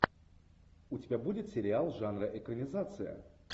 у тебя будет сериал жанра экранизация